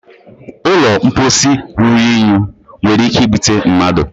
ụlọ mposi ruru unyi nwere ike ibute mmadụ